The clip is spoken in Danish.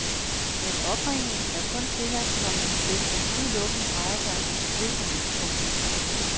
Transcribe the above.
Men opringningen er kun tilladt, komma hvis den udelukkende drejer sig om forsikringer. punktum